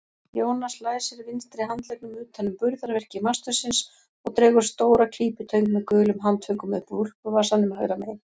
Jónas læsir vinstri handleggnum utan um burðarvirki mastursins og dregur stóra klípitöng með gulum handföngum upp úr úlpuvasanum hægra megin.